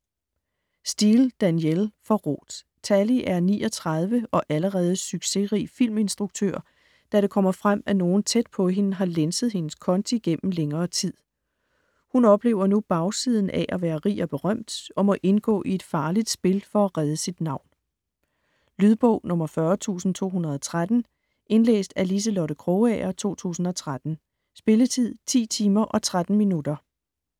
Steel, Danielle: Forrådt Tallie er 39 og allerede succesrig filminstruktør, da det kommer frem, at nogen tæt på hende har lænset hendes konti gennem længere tid. Hun oplever nu bagsiden af at være rig og berømt, og må indgå i et farligt spil for at redde sit navn. Lydbog 40213 Indlæst af Liselotte Krogager, 2013. Spilletid: 10 timer, 13 minutter.